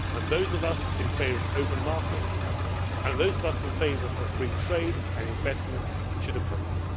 Those of us in favour of open markets, and those of us in favour of free trade and investment, should oppose it.